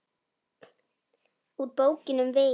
Úr Bókinni um veginn